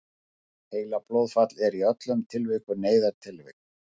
heilablóðfall er í öllum tilvikum neyðartilvik